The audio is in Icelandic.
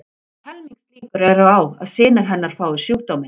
Helmingslíkur eru á að synir hennar fái sjúkdóminn.